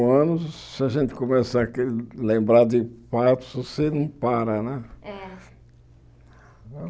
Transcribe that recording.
Anos, se a gente começar a lembrar de fatos, você não para, né? É